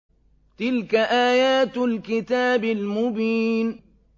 تِلْكَ آيَاتُ الْكِتَابِ الْمُبِينِ